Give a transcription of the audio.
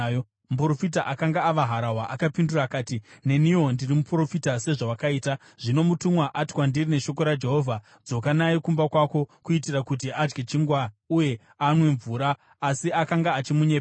Muprofita akanga ava harahwa akapindura akati, “Neniwo ndiri muprofita sezvawakaita. Zvino mutumwa ati kwandiri neshoko raJehovha, ‘Dzoka naye kumba kwako kuitira kuti adye chingwa uye anwe mvura.’ ” Asi akanga achimunyepera.